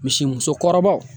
Misi musokɔrɔbaw